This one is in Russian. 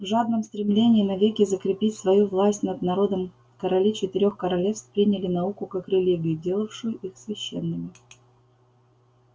в жадном стремлении навеки закрепить свою власть над народом короли четырёх королевств приняли науку как религию делавшую их священными